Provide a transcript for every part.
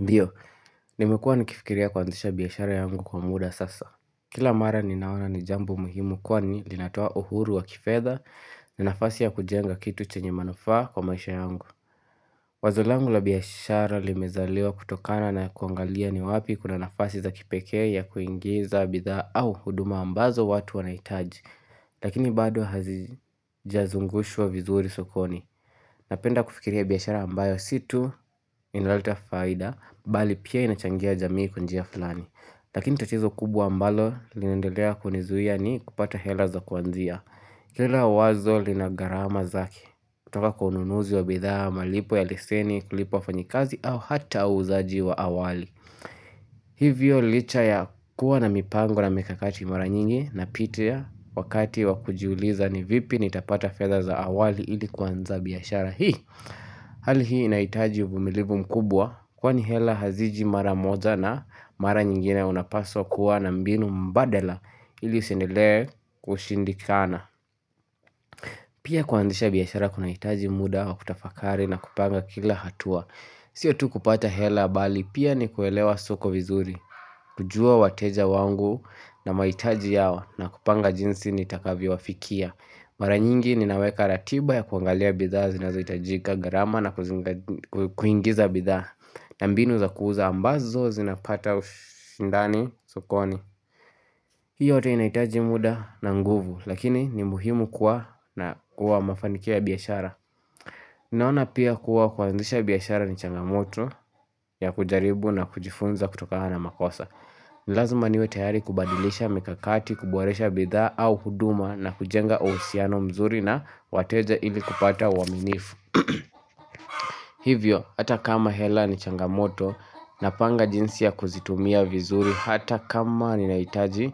Ndiyo, nimekuwa nikifikiria kuanzisha biashara yangu kwa muda sasa. Kila mara ninaona ni jambo muhimu kwa ni linatoa uhuru wa kifedha ni nafasi ya kujenga kitu chenye manufaa kwa maisha yangu. Wazolangu la biashara limezaliwa kutokana na kuangalia ni wapi kuna nafasi za kipeke ya kuingiza bidhaa au huduma ambazo watu wanaitaji. Lakini bado hazijazungushwa vizuri sokoni. Napenda kufikiria biashara ambayo si tu, inaleta faida, bali pia inachangia jamii kwa njia fulani. Lakini tatizo kubwa ambalo linaendelea kunizuia ni kupata hela za kuanzia. Hila wazo linagarama zake, kutoka kwa ununuzi wa bidhaa, malipo ya leseni, kulipa wafanyikazi au hata uuzaji wa awali. Hivyo licha ya kuwa na mipango na mikakati maranyingi na pitia wakati wakujiuliza ni vipi nitapata fedha za awali ili kuanza biashara hii. Hali hii inaitaji uvumilivu mkubwa kwani hela haziji maramoja na mara nyingine unapaswa kuwa na mbinu mbadala ili usiendelee kushindikana. Pia kuanzisha biashara kunaitaji muda wa kutafakari na kupanga kila hatua. Sio tu kupata hela bali pia ni kuelewa suko vizuri, kujua wateja wangu na mahitaji yao na kupanga jinsi nitakavyo wafikia. Mara nyingi ninaweka ratiba ya kuangalia bidhaa zinazoitajika garama na kuingiza bidhaa na mbinu zakuuza ambazo zinapata ushindani sukoni hiyo yote inahitaji muda na nguvu lakini ni muhimu kuwa na kwa mafanikio biashara Ninaona pia kuwa kuanzisha biashara ni changamoto ya kujaribu na kujifunza kutokana na makosa ni lazima niwe tayari kubadilisha mikakati, kuboresha bidhaa au huduma na kujenga uhusiano mzuri na wateja ili kupata uwaaminifu. Hivyo, hata kama hela ni changamoto napanga jinsi ya kuzitumia vizuri hata kama ni naitaji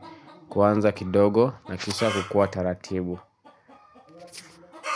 kuanza kidogo na kisha kukua taratibu.